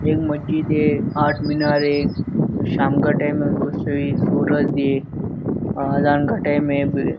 ये मस्जिद है आठ्मिनार है ये शाम का टाइम है उसको कुछ तो सूरज है और अजहान का टाइम है।